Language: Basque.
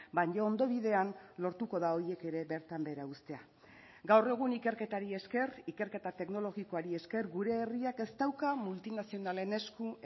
baina ondo bidean lortuko da horiek ere bertan behera uztea gaur egun ikerketari esker ikerketa teknologikoari esker gure herriak ez dauka multinazionalen esku